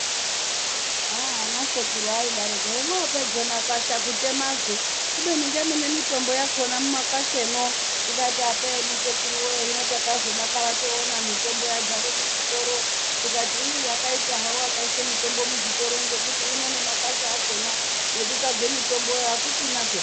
aaah anesekuru aidaroko hemwopedze makwasha kutemazve kubeni ngemune mitombo yakona mumakwashemwo tikati apeno sekuruwe hino takazodakara toone mitombo yadzara muzvitoro tikati iii akaita hawo akaise mitombo muzvitoro ngekuti uno nemakwasha akona ekutasvake mitomboyo akuchina peya.